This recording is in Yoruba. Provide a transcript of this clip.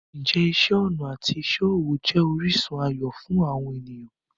Ǹjẹ́ iṣẹ́ ọnà àti iṣẹ́ ọwọ́ jẹ́ orísun ayọ̀ fún àwọn ènìyàn?